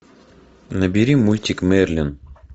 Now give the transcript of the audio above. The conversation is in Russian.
набери мультик мерлин